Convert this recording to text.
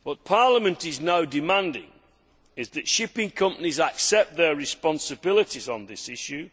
Parliament is now demanding that shipping companies accept their responsibilities on this issue.